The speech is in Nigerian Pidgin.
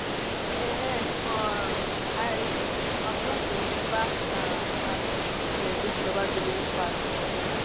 um um i um just dey rememba um as we take celebrate di lovers day wey pass